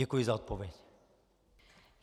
Děkuji za odpověď.